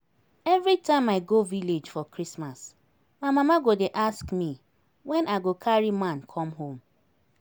Everytime i go village for Christmas, my mama go dey ask me when I go carry man come home